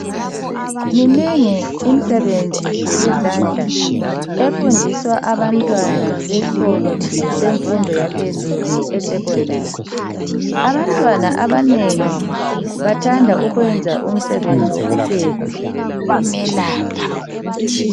Minengi imisebenzi yezandla efundiswa abantwana besikolo semfundo yaphezulu esecondary. Abantwana abanengi bathanda ukwenza umsebenzi wokupheka.